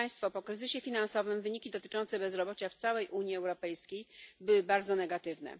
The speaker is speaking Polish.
Po kryzysie finansowym wyniki dotyczące bezrobocia w całej Unii Europejskiej były bardzo negatywne.